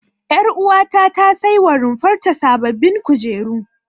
Ƴaruwata ta saiwa runfar ta sababbin kujeru.